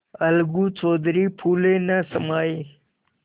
अलगू चौधरी फूले न समाये